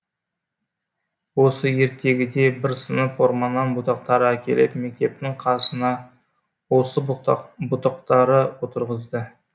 осы ертегіде бір сынып орманнан бұтақтар әкеліп мектептің қасына осы бұтақтары отырғызды